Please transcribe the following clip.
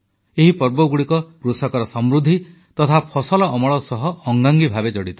ଏହି ପର୍ବଗୁଡ଼ିକ କୃଷକର ସମୃଦ୍ଧି ତଥା ଫସଲ ଅମଳ ସହ ଅଙ୍ଗାଙ୍ଗୀ ଭାବେ ଜଡ଼ିତ